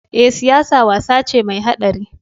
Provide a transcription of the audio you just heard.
Eh, siyasa wasa ce mai haɗari?